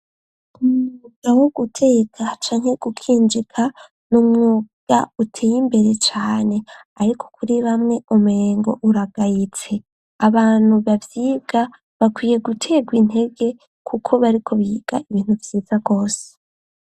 Umwuga wo guteka canke gukinjika n'umwuga uteye imbere cane ariko kuri bamwe umengo uragayitse abantu baba bakwiye gutegwa intege kuko bariko biga ibintu vyiza gose.